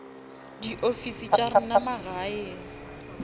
di ofisi tša rena magaeng